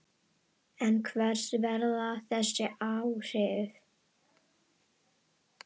En hver verða þessi áhrif?